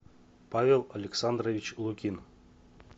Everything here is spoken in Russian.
павел александрович лукин